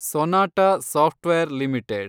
Sonata software limited